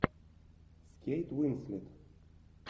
с кейт уинслет